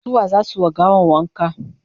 su wa zasu wa gawan wanka?